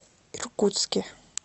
иркутске